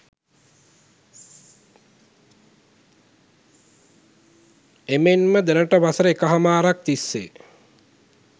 එමෙන්ම දැනට වසර එකහමාරක් තිස්සේ